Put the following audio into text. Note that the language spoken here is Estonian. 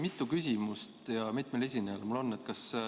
Mitu küsimust ja mitmele esinejale mul võimalik esitada on?